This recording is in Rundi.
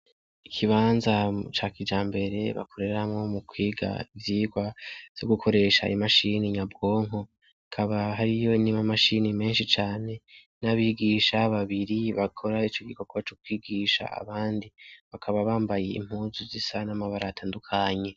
Ikibanza ca kijambere bakoreramwo mu kwiga ivyigwa vyo gukoresha imashini nyabwonko hakaba hariyo n' amamashini menshi cane n' abigisha babiri bakora ico gikogwa co kwigisha abandi bakaba bambaye impuzu zisa n' amabara atandukanye.